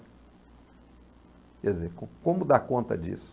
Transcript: Quer dizer, como como dar conta disso?